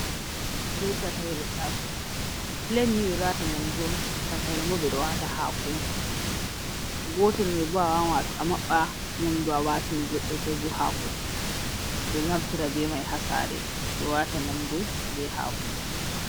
Bee takayre taasowo, "pilet" ni ɓe ɗo waata nyamdu on, takayre bo ɓe ɗo waata haako on. Gootel may bo a waawan a maɓɓa nyamdu a waatini goɗɗo koo bo haako. Ɓe ɗo naftira bee may ha saare, ɓe waata nyamdu bee haako.